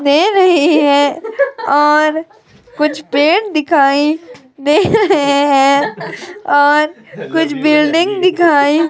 दे रहीं हैं और कुछ पेड़ दिखाई दे रहे है और कुछ बिल्डिंग दिखाई --